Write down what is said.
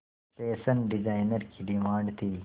fashion designer की demand थी